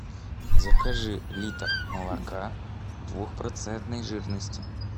закажи литр молока двухпроцентной жирности